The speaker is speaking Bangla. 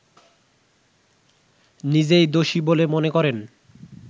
নিজেই দোষী বলে মনে করেন